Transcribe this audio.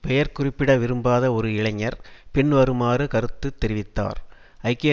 பெயர் குறிப்பிட விரும்பாத ஒரு இளைஞர் பின்வருமாறு கருத்து தெரிவித்தார் ஐக்கிய